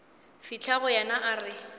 fihla go yena a re